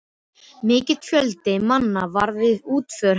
Mikill fjöldi manna var við útför hennar.